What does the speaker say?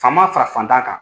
Faama fara fantan kan.